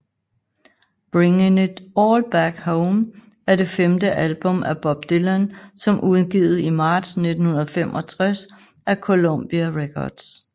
Bringing It All Back Home er det femte album af Bob Dylan som udgivet i marts 1965 af Columbia Records